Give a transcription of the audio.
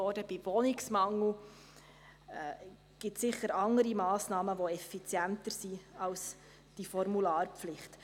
Bei Wohnungsmangel gibt es sicherlich andere Massnahmen, welche effizienter sind als diese Formularpflicht.